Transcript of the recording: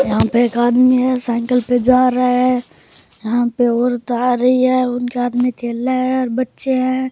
यहाँ पे एक आदमी है साइकिल पे जा रहा है यहाँ पे औरत आ रही है उनके हाथ में थैला है और बच्चे है।